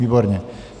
Výborně.